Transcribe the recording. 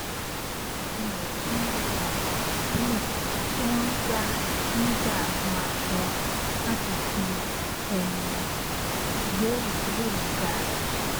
mo bèrè sí lo àwọn ònà ìbílẹ tí wón ń gbà ń gbà hun aṣọ láti fi um gbé ìdílé mi ga